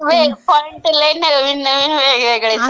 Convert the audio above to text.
होय, लई पॉईंट नवीन नवीन वेगवेगळेच आहेत.